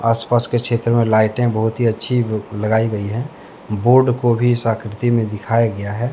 आसपास के क्षेत्र में लाइटें बहुत ही अच्छी लगाई गई हैं बोर्ड को भी इस आकृति में दिखाया गया है।